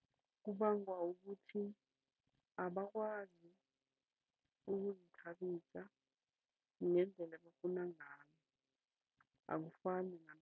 Kubangwa ukuthi abakwazi ukuzithabisa ngendelela ebafuna ngayo akufani